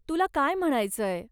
तुला काय म्हणायचंय?